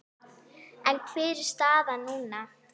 En hver er staðan núna?